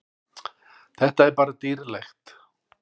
Þetta er bara dýrlegt.